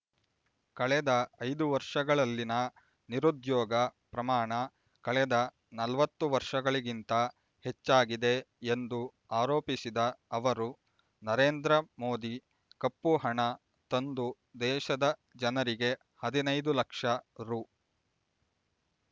ಕಳೆದ ಐದು ವರ್ಷಗಳಲ್ಲಿನ ನಿರುದ್ಯೋಗ ಪ್ರಮಾಣ ಕಳೆದ ನಲವತ್ತು ವರ್ಷಗಳಿಗಿಂತ ಹೆಚ್ಚಾಗಿದೆ ಎಂದು ಆರೋಪಿಸಿದ ಅವರು ನರೇಂದ್ರ ಮೋದಿ ಕಪ್ಪುಹಣ ತಂದು ದೇಶದ ಜನರಿಗೆ ಹದಿನೈದು ಲಕ್ಷ ರೂ